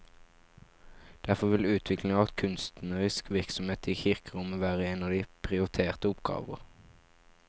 Derfor vil utvikling av kunstnerisk virksomhet i kirkerommet være en av de prioriterte oppgaver.